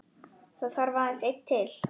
Það þarf aðeins einn til.